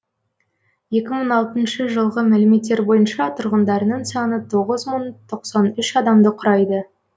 екі мың алтыншы жылғы мәліметтер бойынша тұрғындарының саны тоғыз мың тоқсан үш адамды құрайды